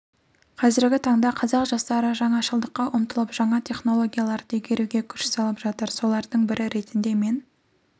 қазіргі таңда қазақ жастары жаңашылдыққа ұмтылып жаңа технологияларды игеруге күш салып жатыр солардың бірі ретінде мен